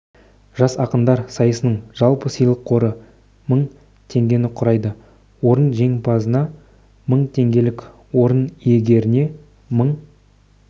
жас ақындар сайысының жалпы сыйлық қоры мың теңгені құрайды орын жеңімпазына мың теңгелік орын иегеріне мың